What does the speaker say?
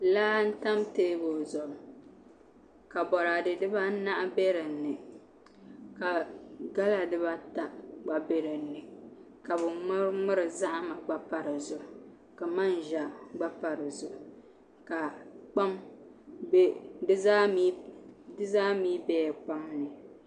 Laa n tam teebuli zuɣu ka boraadɛ dibaanahi bɛ dinni ka gala dibata gba bɛ dinni ka bi ŋmuri ŋmuri zahama gba pa di zuɣu ka manʒa gba pa di zuɣu di zaa mii bɛla kpam ni